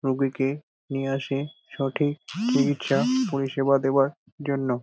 রুগীকে নিয়ে আসে সঠিক চিকিৎসা পরিষেবা দেওয়ার জন্য।